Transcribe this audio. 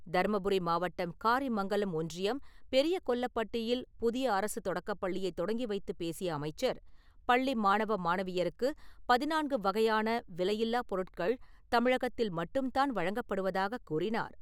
தர்மபுரி மாவட்டம் காரிமங்கலம் ஒன்றியம் பெரிய கொல்லப் பட்டியில் புதிய அரசு தொடக்கப் பள்ளியைத் தொடங்கி வைத்துப் பேசிய அமைச்சர், பள்ளி மாணவ மாணவியருக்கு பதினான்கு வகையான விலையில்லா பொருட்கள் தமிழகத்தில் மட்டும் தான் வழங்கப்படுவதாகக் கூறினார் .